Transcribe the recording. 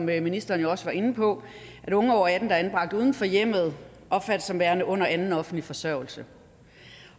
hvad ministeren jo også var inde på at unge over atten år anbragt uden for hjemmet opfattes som værende under anden offentlig forsørgelse